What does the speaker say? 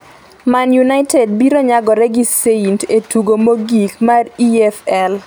Man United biro nyagore gi Saint e tugo mogik mag EFL